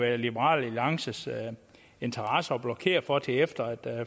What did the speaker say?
i liberal alliances interesse at blokere for op til efter et